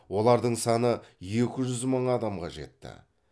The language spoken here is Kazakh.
олардың саны екі жүз мың адамға жетті